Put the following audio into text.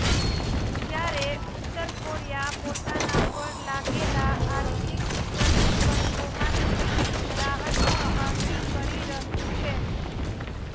જ્યારે ઉત્તર કોરિયા પોતાના પર લાગેલા આર્થિક પ્રતિબંધોમાંથી રાહતની માગણી કરી રહ્યું છે